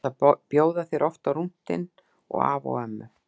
Ég ætla að bjóða þér oft með á rúntinn og afa og ömmu.